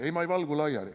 Ei, ma ei valgu laiali.